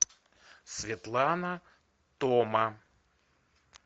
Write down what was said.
светлана тома